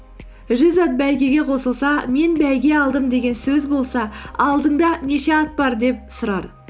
жүз ат бәйгеге қосылса мен бәйге алдым деген сөз болса алдыңда неше ат бар деп сұрар